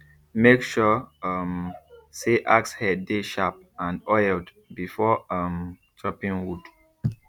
make sure um say axe head dey sharp and oiled before um chopping wood